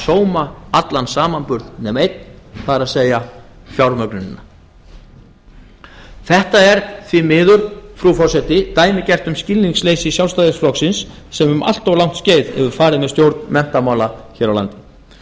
sóma allan samanburð nema einn það er fjármögnunina þetta er því miður frú forseti dæmigert um skilningsleysi sjálfstæðisflokksins sem um allt langt skeið hefur farið með stjórn menntamála hér á landi